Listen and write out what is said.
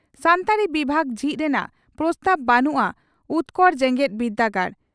ᱥᱟᱱᱛᱟᱲᱤ ᱵᱤᱵᱷᱟᱜᱽ ᱡᱷᱤᱡ ᱨᱮᱱᱟᱜ ᱯᱨᱚᱥᱛᱟᱵᱽ ᱵᱟᱹᱱᱩᱜᱼᱟ ᱩᱛᱠᱚᱲ ᱡᱮᱜᱮᱛ ᱵᱤᱨᱫᱟᱹᱜᱟᱲ